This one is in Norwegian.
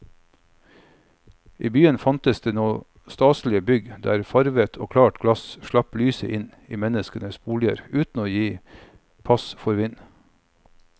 I byene fantes nå staselige bygg der farvet og klart glass slapp lyset inn i menneskenes boliger uten å gi pass for vind.